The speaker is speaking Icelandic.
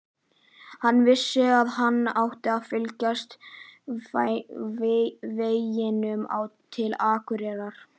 Hann vissi að hann átti að fylgja veginum til Akureyrar.